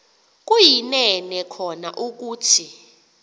kuyinene kona ukuthi